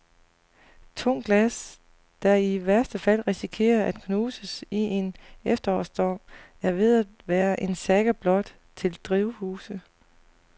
Tungt glas, der i værste fald risikerer at knuses i en efterårsstorm, er ved at være en saga blot til drivhuse.